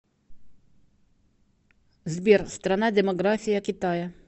сбер страна демография китая